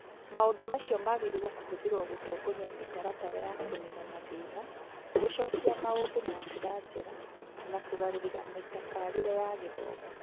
Maũndũ macio magĩrĩirũo kũhũthĩrũo gũtongoria mĩtaratara ya kũniina mathĩna, gũcokia maũndũ na njĩra njega, na kũgarũrĩra mĩtabarĩre ya gĩthomo.